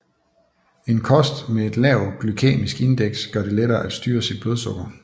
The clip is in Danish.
En kost med et lavt glykæmisk indeks gør det lettere at styre sit blodsukker